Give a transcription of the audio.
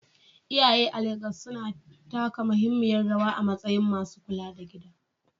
Iyaye a Legas suna taka muhimmiyar rawa a matsayin masu kula da gida.